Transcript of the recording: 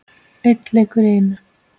Einn leikur í einu.